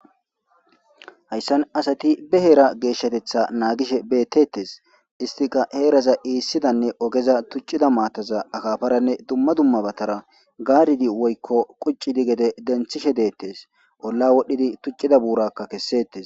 Hayssan asati be heera geeshshatetha naagishe beettettes istika heeraza iissidanne ogeza tuccida maataza akafaranne dumma dummabatara gaaridi woykko quccidi gede denthishe deettes olla wodhdhidi tuccida buurakka kessettes.